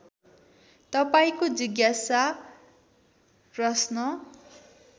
तपाईँको जिज्ञासा प्रश्न